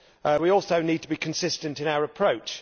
We also need to be consistent in our approach.